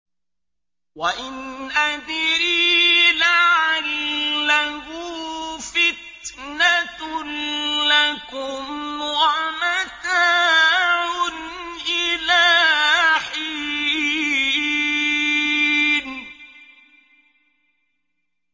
وَإِنْ أَدْرِي لَعَلَّهُ فِتْنَةٌ لَّكُمْ وَمَتَاعٌ إِلَىٰ حِينٍ